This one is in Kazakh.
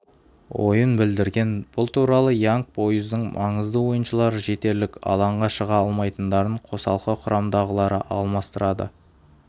ойын білдірген бұл туралы янг бойздың маңызды ойыншылары жетерлік алаңға шыға алмайтындарын қосалқы құрамдағылары алмастырады